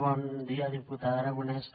bon dia diputada aragonès